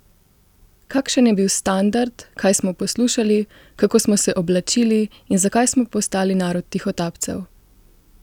Kakšen je bil standard, kaj smo poslušali, kako smo se oblačili in zakaj smo postali narod tihotapcev?